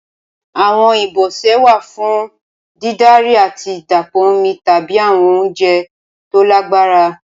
Awọn ibọsẹ wa fun didari ati dapọ omi tabi awọn ounjẹ to lagbara.